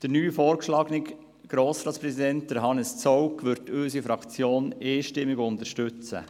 Unsere Fraktion wird den als neuen Grossratspräsidenten vorgeschlagenen Hannes Zaugg einstimmig unterstützen.